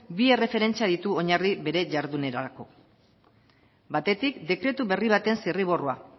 bi erreferentzia ditu oinarri bere jarduerarako batetik dekretu berri baten zirriborroa